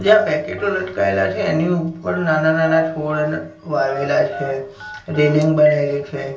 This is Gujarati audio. ત્યાં પેકેટો લટકાઈલા છે એની ઉપર નાના નાના છોડ વાવેલા છે રેલીંગ બનેલી છે.